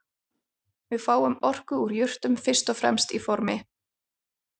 Við fáum orku úr jurtum fyrst og fremst í formi